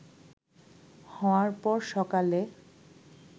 হওয়ার পর সকালে